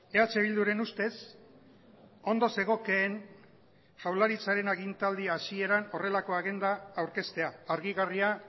eh bilduren ustez ondo zegokeen jaurlaritzaren agintaldi hasieran horrelako agenda aurkeztea argigarria